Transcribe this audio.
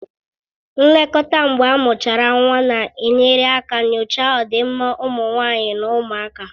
Nlekọta mgbe amuchara nwa na-enyere aka nyochaa ọdịmma ụmụ nwanyị na ụmụaka